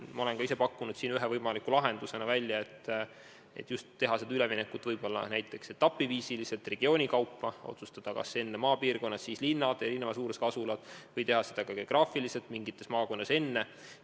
Ma olen siin ühe võimaliku lahendusena välja pakkunud selle, et teha üleminek võib-olla etapiviisil, näiteks regioonide kaupa: otsustada, kas alustada maapiirkondadest ning seejärel võtta ette linnad ja erineva suurusega asulad või toimida geograafiliselt, lähtudes maakondadest.